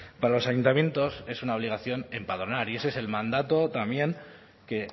para los ayuntamientos es una obligación empadronar y ese es el mandato también que